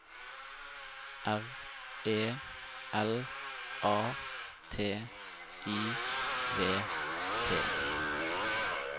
R E L A T I V T